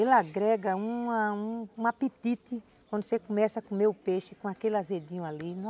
Ele agrega uma um apetite quando você começa a comer o peixe com aquele azedinho ali.